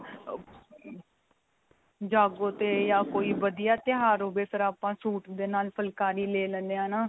ਜਾਗੋ ਤੇ ਜਾਂ ਕੋਈ ਵਧੀਆ ਤਿਉਹਾਰ ਹੋਵੇ ਫ਼ਿਰ ਆਪਾਂ ਸੂਟ ਦੇ ਨਾਲ ਫੁਲਕਾਰੀ ਲੈ ਲੇਨੇ ਆਂ ਨਾ.